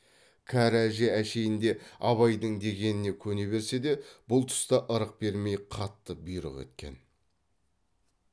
кәрі әже әшейінде абайдың дегеніне көне берсе де бұл тұста ырық бермей қатты бұйрық еткен